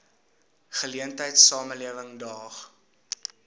geleentheid samelewing daag